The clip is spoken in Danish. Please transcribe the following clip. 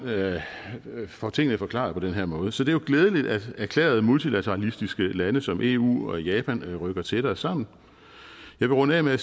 får tingene forklaret på den her måde så det er jo glædeligt at erklærede multilateralistiske lande som eu landene og japan rykker tættere sammen jeg vil runde af med at